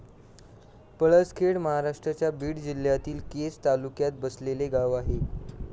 पळसखेड महाराष्ट्राच्या बीड जिल्ह्यातील केज तालुक्यात बसलेले गाव आहे.